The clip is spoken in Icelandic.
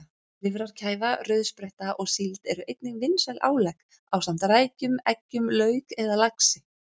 Lifrarkæfa, rauðspretta og síld eru einnig vinsæl álegg ásamt rækjum, eggjum, lauk eða laxi.